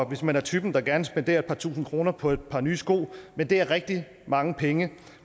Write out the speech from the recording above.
hvis man er typen der gerne spenderer et par tusind kroner på et par nye sko men det er rigtig mange penge